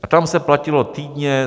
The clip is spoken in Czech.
A tam se platilo týdně.